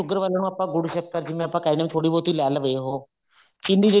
sugar ਵਾਲੇ ਨੂੰ ਜਿਵੇਂ ਆਪਾਂ ਕਹਿੰਦੇ ਹਾਂ ਗੁੜ ਸ਼ੱਕਰ ਥੋੜੀ ਬਹੁਤੀ ਲੈ ਲਵੇ ਉਹ ਚਿੰਨੀ ਜਿਹੜੀ